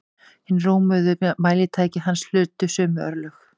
Hin rómuðu mælitæki hans hlutu sömu örlög.